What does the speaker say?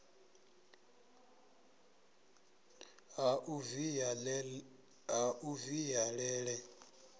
la u via le le